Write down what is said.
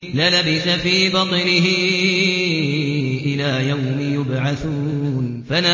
لَلَبِثَ فِي بَطْنِهِ إِلَىٰ يَوْمِ يُبْعَثُونَ